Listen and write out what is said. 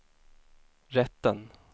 rätten